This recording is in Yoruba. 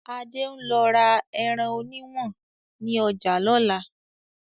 Adé ń lọ ra ẹran òní ìwọ̀n ni ọjà lọ́la